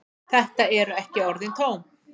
Þetta eru ekki orðin tóm.